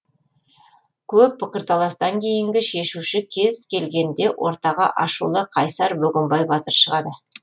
көп пікірталастан кейінгі шешуші кез келгенде ортаға ашулы қайсар бөгенбай батыр шығады